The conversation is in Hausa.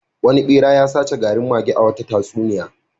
Wani ɓera ya sace garin mage a wata tatsuniya.